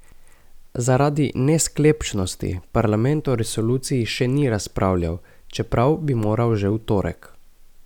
Zaradi nesklepčnosti parlament o resoluciji še ni razpravljal, čeprav bi moral že v torek.